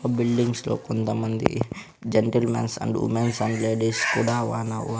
ఆ బిల్డింగ్స్ లో కొంతమంది gentlemens and womens and ladies కూడా వానవ--